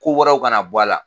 Ko wɛrɛw kana na bɔ a la.